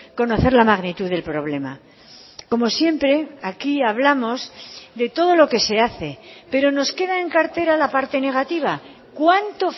conocer la magnitud del problema como siempre aquí hablamos de todo lo que se hace pero nos queda en cartera la parte negativa cuánto